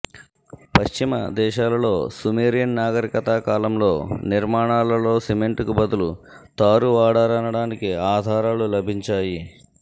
పశ్చిమ దేశాలలో సుమేరియన్ నాగరికత కాలంలో నిర్మాణాలలో సిమెంటుకు బదులుగా తారు వాడారనటానికి ఆధారాలు లభించాయి